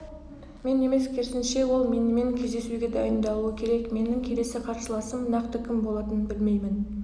мен емес керісінше ол менімен кездесуге дайындалуы керек менің келесі қарсыласым нақты кім болатынын білмеймін